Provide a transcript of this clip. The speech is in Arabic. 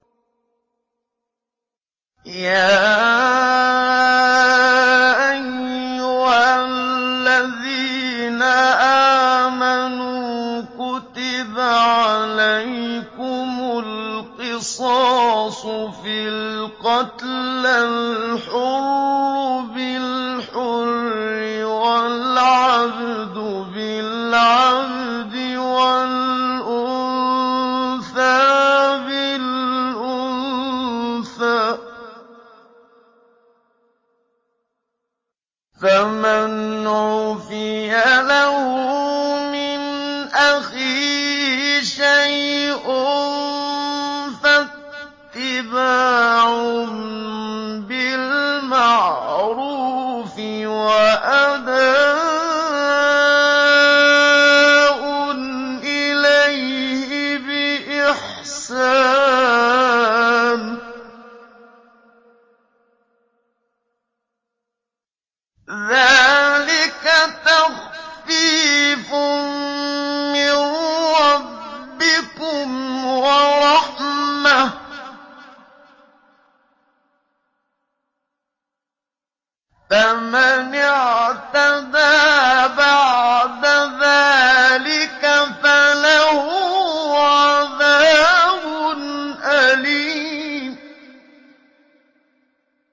يَا أَيُّهَا الَّذِينَ آمَنُوا كُتِبَ عَلَيْكُمُ الْقِصَاصُ فِي الْقَتْلَى ۖ الْحُرُّ بِالْحُرِّ وَالْعَبْدُ بِالْعَبْدِ وَالْأُنثَىٰ بِالْأُنثَىٰ ۚ فَمَنْ عُفِيَ لَهُ مِنْ أَخِيهِ شَيْءٌ فَاتِّبَاعٌ بِالْمَعْرُوفِ وَأَدَاءٌ إِلَيْهِ بِإِحْسَانٍ ۗ ذَٰلِكَ تَخْفِيفٌ مِّن رَّبِّكُمْ وَرَحْمَةٌ ۗ فَمَنِ اعْتَدَىٰ بَعْدَ ذَٰلِكَ فَلَهُ عَذَابٌ أَلِيمٌ